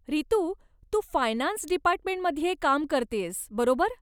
रितू, तू फायनान्स डिपार्टमेंटमध्ये काम करतेयस, बरोबर?